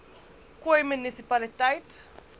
khoi munisi paliteit